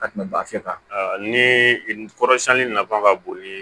Ka tɛmɛ bafin kan ni kɔrɔsiyɛnni nafa ka bon ni